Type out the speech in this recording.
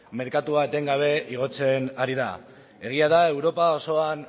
merkatua etengabe igotzen ari da egia da europa osoan